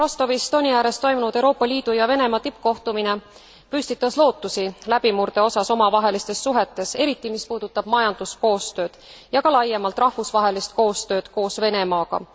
Rostovis Doni ääres toimunud Euroopa Liidu ja Venemaa tippkohtumine püstitas lootusi läbimurde osas omavahelistes suhetes, eriti mis puudutab majanduskoostööd ja ka laiemalt rahvusvahelist koostööd koos Venemaaga.